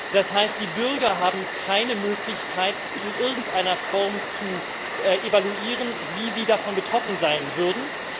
Das heißt, die Bürger haben keine Möglichkeit, in irgendeiner Form zu evaluieren, wie sie davon betroffen sein würden.